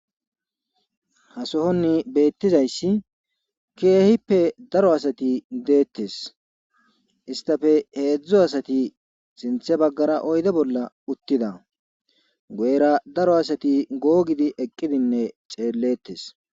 ha sohonni beettizayssi keehippe daro asati deettes istafe heedzdzo asati sinthe baggara oyde bolla uttida goera daro asati googidi eqqidinne xellettes